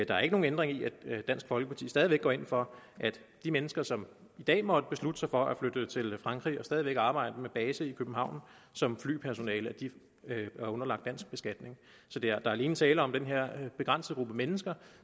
der er ikke nogen ændring i at dansk folkeparti stadig væk går ind for at de mennesker som i dag måtte beslutte sig for at flytte til frankrig og stadig væk arbejde med base i københavn som flypersonale er underlagt dansk beskatning så der er alene tale om at den her begrænsede gruppe mennesker